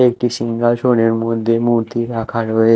একটি সিংহাসনের মধ্যে মূর্তি রাখা রয়ে--